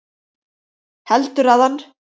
Heldurðu að hann